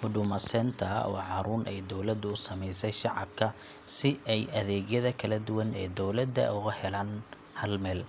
Huduma Centre waa xarun ay dowladdu u sameysay shacabka si ay adeegyada kala duwan ee dowladda uga helaan hal meel.